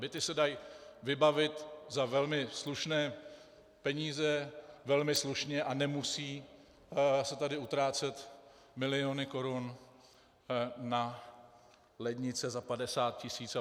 Byty se dají vybavit za velmi slušné peníze velmi slušně a nemusí se tady utrácet miliony korun na lednice za 50 tis. apod.